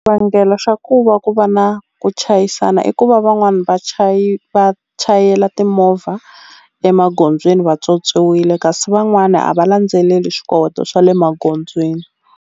Xivangelo xa ku va ku va na ku chayisana i ku va van'wani va va chayela timovha emagondzweni vatswotswiwile kasi van'wani a va landzeleli swi kota swa le magondzweni.